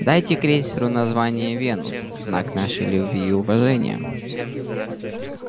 дайте крейсеру название венус в знак нашей любви и уважения